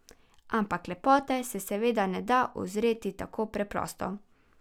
Ampak lepote se seveda ne da uzreti tako preprosto.